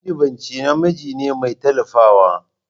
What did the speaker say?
Majiɓinci namiji ne mai tallafawa.